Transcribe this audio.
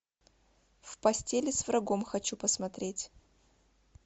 в постели с врагом хочу посмотреть